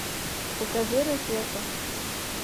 покажи ракета